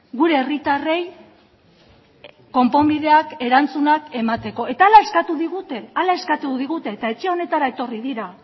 gure herritarrei konponbideak erantzunak emateko eta hala eskatu digute hala eskatu digute eta etxe honetara etorri dira